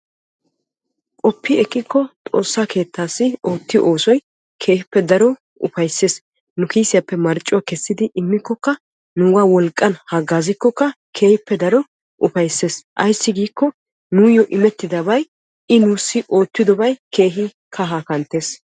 qopi ekkiiko Xoossa keettassi oottiyo oossoy keehippe daro upayssees, nu kissiyappe marccuwaa kessidi immikkoka nuuga wolqqan haggaazzikkoka keehin upaysses aysse giikko I nuyyo immettidabay I oottidobay keehin kahaa kanttees.